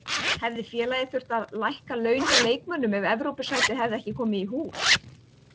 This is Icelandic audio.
Hefði félagið þurft að lækka laun hjá leikmönnum ef Evrópusætið hefði ekki komið í hús?